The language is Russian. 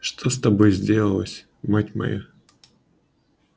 что с тобою сделалось мать моя